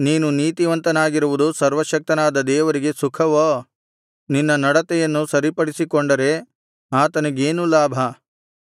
ನೀನು ನೀತಿವಂತನಾಗಿರುವುದು ಸರ್ವಶಕ್ತನಾದ ದೇವರಿಗೆ ಸುಖವೋ ನಿನ್ನ ನಡತೆಯನ್ನು ಸರಿಪಡಿಸಿಕೊಂಡರೆ ಆತನಿಗೇನು ಲಾಭ